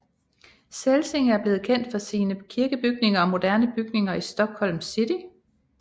Celsing er blevet kendt for sine kirkebygninger og moderne bygninger i Stockholms City